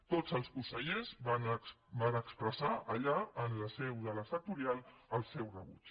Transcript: tots els consellers van expressar allà en la seu de la sectorial el seu rebuig